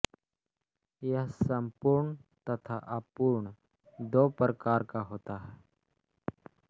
यह संपूर्ण तथा अपूर्ण दो प्रकार का होता है